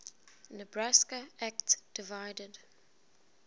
nebraska act divided